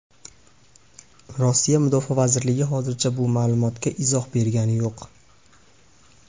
Rossiya Mudofaa vazirligi hozircha bu ma’lumotga izoh bergani yo‘q.